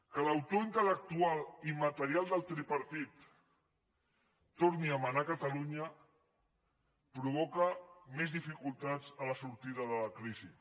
que l’autor intel·lectual i material del tripartit torni a manar a catalunya provoca més dificultats a la sortida de la crisi